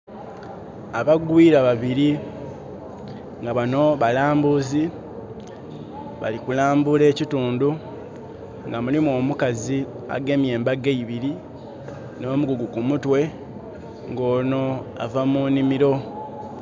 Abagwiira babiri, nga bano balaambuzi, bali kulaambula ekitundu. Nga mulimu omukazi agemye embago eibiri, n'omugugu kumutwe, nga ono ava munimiro.